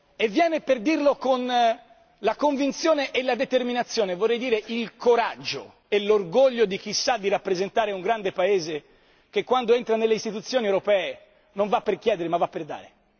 E viene per dirlo con la convinzione e la determinazione vorrei dire il coraggio e l'orgoglio di chi sa di rappresentare un grande Paese che quando entra nelle istituzioni europee non è per chiedere bensì per dare.